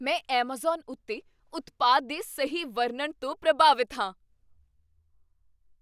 ਮੈਂ ਐੱਮਾਜ਼ਾਨ ਉੱਤੇ ਉਤਪਾਦ ਦੇ ਸਹੀ ਵਰਣਨ ਤੋਂ ਪ੍ਰਭਾਵਿਤ ਹਾਂ।